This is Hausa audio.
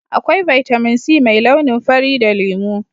akwai Vitamin c mai launin fari da lemu